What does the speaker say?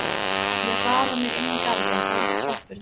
Ég hraða mér inn í garðinn og upp tröppurnar.